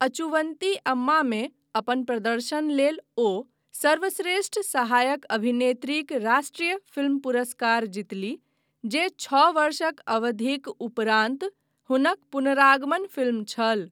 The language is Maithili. अचुविंते अम्मामे अपन प्रदर्शन लेल ओ सर्वश्रेष्ठ सहायक अभिनेत्रीक राष्ट्रीय फिल्म पुरस्कार जीतलीह, जे छओ वर्षक अवधिक उपरान्त हुनक पुनरागमन फिल्म छल।